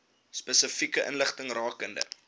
spesifieke inligting rakende